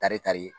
Tari kari